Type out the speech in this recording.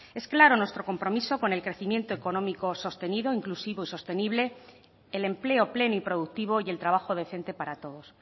es claro nuestro compromiso con el crecimiento económico sostenido inclusivo y sostenible el empleo pleno y productivo y el trabajo decente para todos